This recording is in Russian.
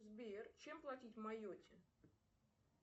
сбер чем платить в майотте